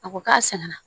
A ko k'a sɛgɛnna